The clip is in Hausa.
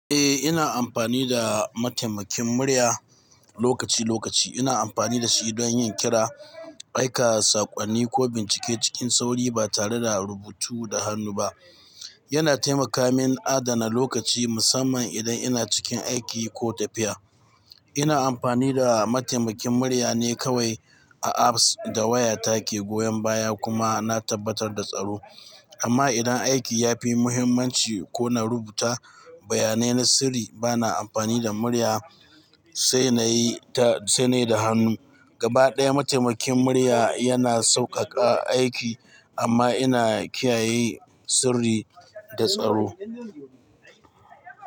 Eh, ina amfani da mataimakin murya lokaci-lokaci. Ina amfani da shi don yin kira, aika saƙonni ko bincike cikin sauri ba tare da rubutu da hannu ba. Yana taimaka min adana lokaci musamman idan ina cikin aiki ko tafiya. Ina amfani da mataimakin murya ne kawai a apps da waya take goyan baya kuma na tabbatar da tsaro. Amma idan aiki ya fi muhimmanci ko na rubuta bayanai na sirri, bana amfani da murya, sai na yi ta-- sai na yi da hannu. Gaba ɗaya mataimakin murya yana sauƙaƙa aiki amma ina kiyaye sirri da tsaro.